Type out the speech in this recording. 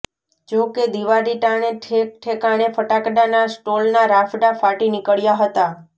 જો કે દિવાળી ટાણે ઠેક ઠેકાણે ફટાકડાના સ્ટોલના રાફડા ફાંટી નીકળ્યા હતા